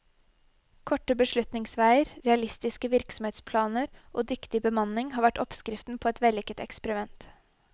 Korte beslutningsveier, realistiske virksomhetsplaner og dyktig bemanning har vært oppskriften på et vellykket eksperiment.